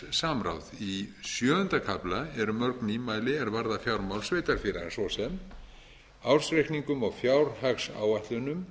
efnahagssamráð í sjöunda kafla eru mörg nýmæli eru mörg nýmæli er varða a ára sveitarfélaga svo sem ársreikningum og fjárhagsáætlunum